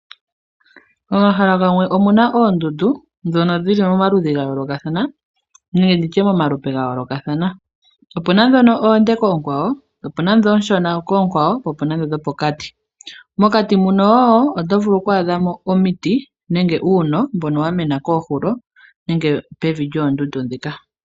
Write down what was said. Omahala gamwe omuna oondundu ndhono dhili momaludhi ga yoolokathana nenge nditye momalupe ga yoolokathana, opuna ndhono oonde koonkwawo, opuna ndho oonshona koonkwawo, po opuna ndho dhopokati. Mokati mono wo otovulu okwaadha omiti nenge uuno mbono wa mena koohulo, nenge pevi lyoondundu ndhika.